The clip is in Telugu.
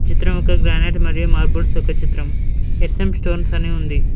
చిత్రం ఒక గ్రానైట్ మరియు మార్బుల్స్ యొక్క చిత్రం ఎస్_ఎం స్టోన్స్ అని ఉంది.